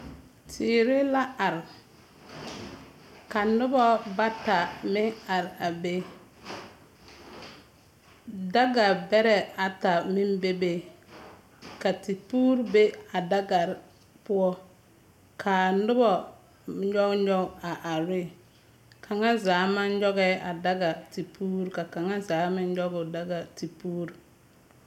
Teere la are. Ka noba bata meŋ are a be. Daga bɛrɛ ata meŋ bebe. Ka tepuuri be a dagar poɔ. Kaa nobɔ nyɔg ngɔg are re. Kaŋazaa maŋ nyɔgɛɛ a daga tepuur ka kaŋazaa meŋ nyɔg o daga tepuur.